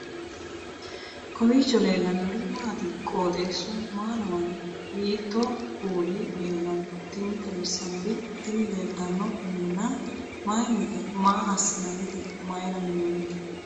kowiicho leellannori maati ? qooxeessu maa lawaanno ? hiitoo kuuli leellanno ? tini xawissannori tini leeltanno minna mayinnite maa aasinannite mayra minnoonite